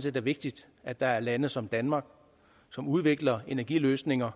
set vigtigt at der er lande som danmark som udvikler energiløsninger